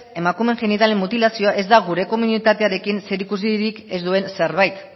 emakumeen genitalen mutilazioa ez da gure komunitatearen zerikusirik ez duen zerbait